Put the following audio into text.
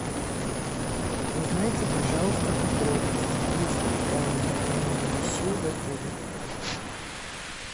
узнайте пожалуйста подробности есть ли камера хранения вещей в отеле